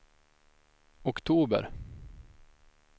oktober